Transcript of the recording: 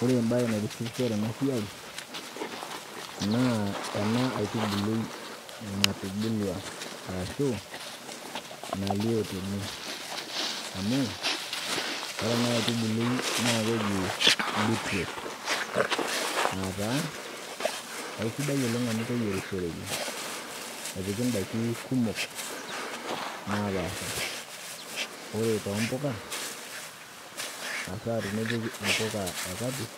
Ore embaye naitishipisho tenasiai naa ena aitubului natubulua, arashuu nalio tene amu ore ena aitubului naakeji beetroot aataa aisidai oleng' amu keyierishoreki. Epiki indaiki kumok naapaasha ore too mpoka, hasaa tenepiki impoka e kapish